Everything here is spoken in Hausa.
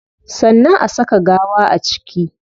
Sannan a saka gawa a ciki